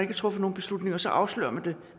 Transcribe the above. har truffet nogen beslutning og så afslører man det